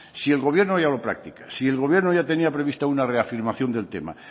si el gobierno ya lo practica si el gobierno ya tenía previsto una reafirmación del tema